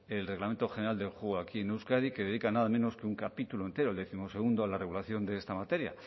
el reglamento general del juego aquí en euskadi que dedica nada menos que un capítulo entero el décimosegundo en la regulación de esta materia